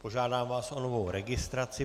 Požádám vás o novou registraci.